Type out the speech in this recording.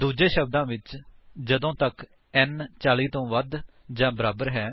ਦੂਜੇ ਸ਼ਬਦਾਂ ਵਿੱਚ ਜਦੋਂ ਤੱਕ n 40 ਤੋਂ ਵੱਧ ਜਾਂ ਬਰਾਬਰ ਹੈ